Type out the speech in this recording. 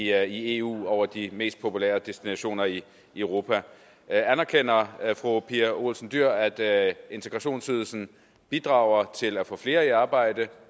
jeg i eu over de mest populære destinationer i europa anerkender fru pia olsen dyhr at integrationsydelsen bidrager til at få flere i arbejde